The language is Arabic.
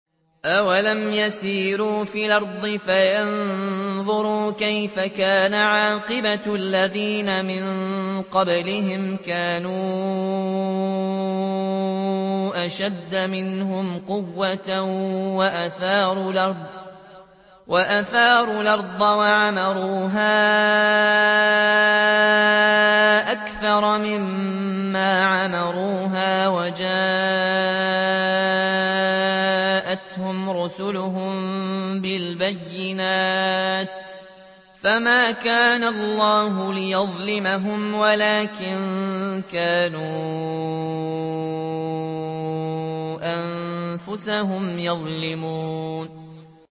أَوَلَمْ يَسِيرُوا فِي الْأَرْضِ فَيَنظُرُوا كَيْفَ كَانَ عَاقِبَةُ الَّذِينَ مِن قَبْلِهِمْ ۚ كَانُوا أَشَدَّ مِنْهُمْ قُوَّةً وَأَثَارُوا الْأَرْضَ وَعَمَرُوهَا أَكْثَرَ مِمَّا عَمَرُوهَا وَجَاءَتْهُمْ رُسُلُهُم بِالْبَيِّنَاتِ ۖ فَمَا كَانَ اللَّهُ لِيَظْلِمَهُمْ وَلَٰكِن كَانُوا أَنفُسَهُمْ يَظْلِمُونَ